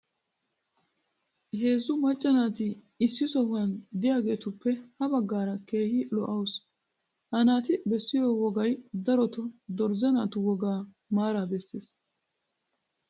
heezzu macca naati issi sohuwan diyaageetuppe ha bagaara keehi lo'awusu. ha naati beessiyo wogay darotoo dorzze naatu wogaa maaraa besees.